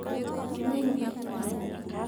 Rũũĩ rũu nĩ rũraihu.